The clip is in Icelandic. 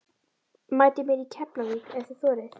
Mætið mér í Keflavík ef þið þorið!